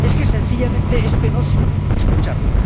Sencillamente es penoso escucharlo.